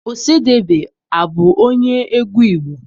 Ọsadebe abụ onye egwu Igbo?